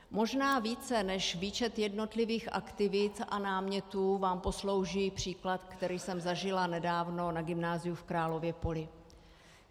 Možná více než výčet jednotlivých aktivit a námětů vám poslouží příklad, který jsem zažila nedávno na Gymnáziu v Králově Poli.